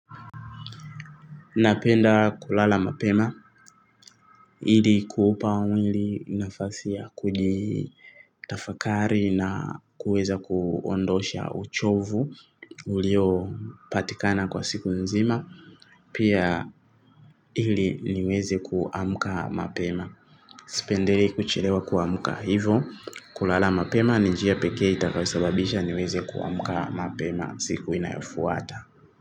Napenda kulala mapema, ili kuupa mwili nafasi ya kuji tafakari na kuweza kuondosha uchovu ulio patikana kwa siku nzima, pia ili niweze kuamuka mapema. Sipendelei kuchelewa kuamuka hivo, kulala mapema, ni njia pekee itakayo sababisha niweze kuamuka mapema siku inayofuata.